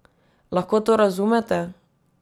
Lahko to razumete?